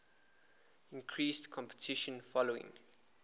increased competition following